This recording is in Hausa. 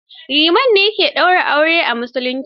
Liman ne ya ke ɗaura aure a auren musulunci.